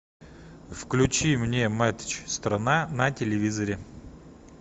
включи мне матч страна на телевизоре